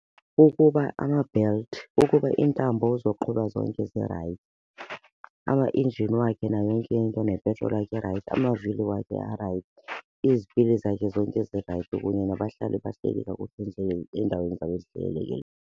Kukuba ama-belt, kukuba iintambo zoqhuba zonke zirayithi. Amaenjini wakhe nayo yonke into nepetroli irayithi, amavili wakhe arayithi, izipili zakhe zonke zirayithi kunye nabahlali bahleli kakuhle nje eendaweni zabo .